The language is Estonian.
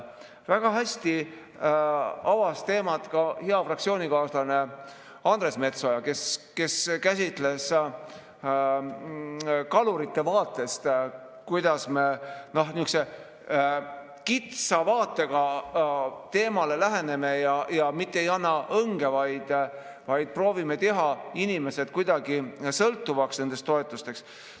Väga hästi avas teemat hea fraktsioonikaaslane Andres Metsoja, kes käsitles seda kalurite vaatest, kuidas me sihukese kitsa vaatega teemale läheneme ja mitte ei anna õnge, vaid proovime teha inimesed sõltuvaks nendest toetustest.